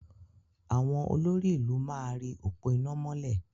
Àwọn olórí-ìlú máa ri òpó iná mọ́lẹ̀.